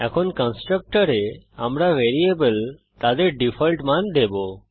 এখন কন্সট্রকটরে আমরা ভ্যারিয়েবল তাদের ডিফল্ট মান দেবো